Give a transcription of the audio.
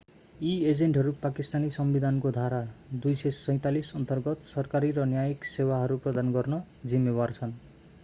यी एजेन्टहरू पाकिस्तानी संविधानको धारा 247 अन्तर्गत सरकारी र न्यायिक सेवाहरू प्रदान गर्न जिम्मेवार छन्